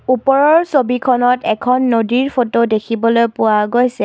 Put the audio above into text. ওপৰৰ ছবিখনত এখন নদীৰ ফটো দেখিবলৈ পোৱা গৈছে।